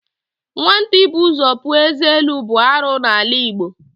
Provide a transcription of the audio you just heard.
Nwata ịbụ ụzọ puo ézé elu bụ arụ n'ala Igbo.